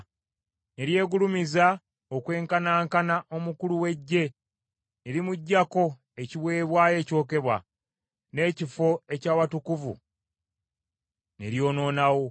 Ne lyegulumiza okwenkanankana omukulu w’eggye, ne limuggyako ekiweebwayo ekyokebwa, n’ekifo eky’awatukuvu ne lyonoonawo.